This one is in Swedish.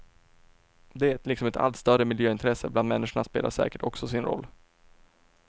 Det, liksom ett allt större miljöintresse bland människorna, spelar säkert också sin roll.